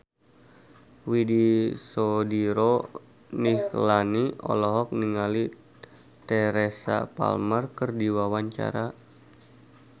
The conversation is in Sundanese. Widy Soediro Nichlany olohok ningali Teresa Palmer keur diwawancara